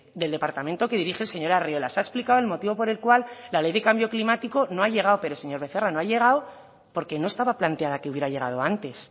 del departamento que dirige el señor arriola se ha explicado el motivo por el cual la ley de cambio climático no ha llegado pero señor becerra no ha llegado porque no estaba planteada que hubiera llegado antes